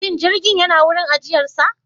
Shin jirgin yana wurin ajiyarsa?